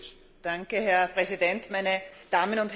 Herr Präsident, meine Damen und Herren!